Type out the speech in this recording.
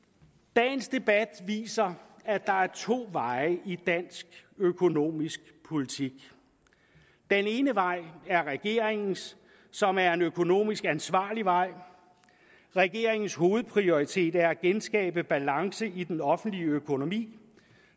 dagens debat viser at der er to veje i dansk økonomisk politik den ene vej er regeringens som er en økonomisk ansvarlig vej regeringens hovedprioritet er at genskabe balance i den offentlige økonomi